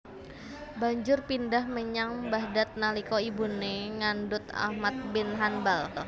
Banjur pindhah menyang Baghdad nalika ibune ngandhut Ahmad bin Hanbal